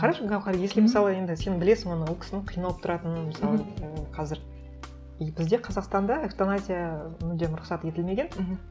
қарашы гауһар если мысалы енді сен білесің оны ол кісінің қиналып тұратынын мысалы м қазір и бізде қазақстанда эвтаназия мүлдем рұқсат етілмеген мхм